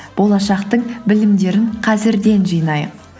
болашақтың білімдерін қазірден жинайық